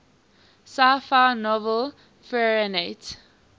sci fi novel fahrenheit